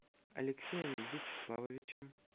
алексеем вячеславовичем